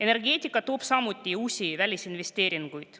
Energeetika toob samuti uusi välisinvesteeringuid.